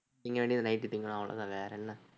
திங்க வேண்டியதை night திங்கணும் அவ்வளவுதான் வேற என்ன